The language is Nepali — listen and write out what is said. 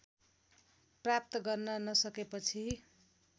प्राप्त गर्न नसकेपछि